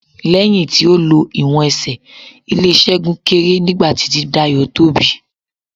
Lẹ́yìn tí a lo ìwọ̀n Ẹsẹ̀, ilè Ṣẹ́gun kéré nígbà tí ti Dayọ̀ tóbi.